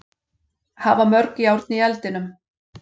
Hafa mörg járn í eldinum.